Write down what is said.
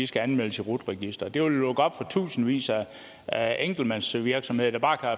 skal anmeldes i rut registeret det vil lukke op for tusindvis af enkeltmandsvirksomheder der bare